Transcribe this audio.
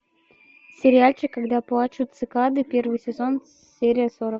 сериальчик когда плачут цикады первый сезон серия сорок